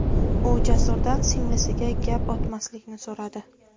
U Jasurdan singlisiga gap otmaslikni so‘radi.